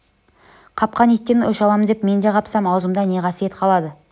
қапқан иттен өш алам деп мен де қапсам аузымда не қасиет қалады